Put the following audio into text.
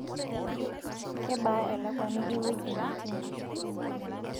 kebaa elakuani ewueji netii?